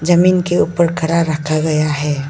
जमीन के ऊपर खड़ा रखा गया है।